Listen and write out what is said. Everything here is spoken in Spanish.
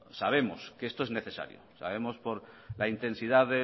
sabemos que esto es necesario sabemos por la intensidad